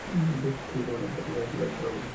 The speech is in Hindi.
ये बहुत ही बड़ा बाजार लगा हुआ हैं।